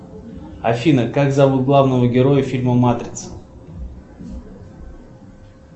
афина как зовут главного героя фильма матрица